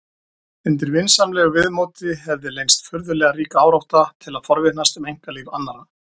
Undir vinsamlegu viðmóti hefði leynst furðulega rík árátta til að forvitnast um einkalíf annarra.